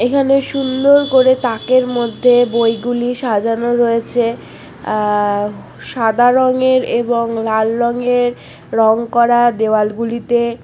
এখানে সুন্দর করে তাকের মধ্যে বইগুলি সাজানো রয়েছে অ্যাঁ সাদা রঙের এবং সাদা রঙের এবং লাল রঙের রং করা দেওয়াল গুলিতে।